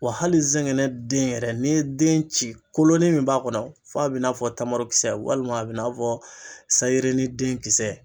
Wa hali zɛngɛnɛden yɛrɛ ye, ni ye den ci kolon ni min b'a kɔnɔ, f'a bɛna bina f tamarokisɛ walima a bɛ n'a fɔ sayi yirini den kisɛ